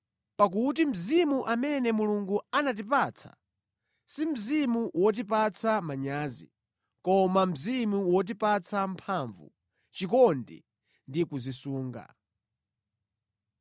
Pakuti Mzimu amene Mulungu anatipatsa, si Mzimu wotipatsa manyazi, koma Mzimu wotipatsa mphamvu, chikondi ndi kudzisunga.